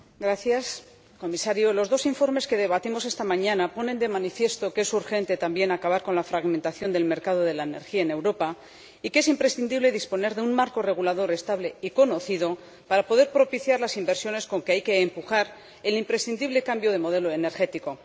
Señor Presidente, señor Comisario, los dos informes que debatimos esta mañana ponen de manifiesto que es urgente, también, acabar con la fragmentación del mercado de la energía en Europa y que es imprescindible disponer de un marco regulador estable y conocido para poder propiciar las inversiones con que hay que empujar el imprescindible cambio de modelo energético.